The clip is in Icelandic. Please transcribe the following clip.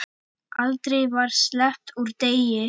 Aldrei var sleppt úr degi.